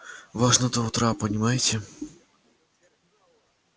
важно до утра понимаете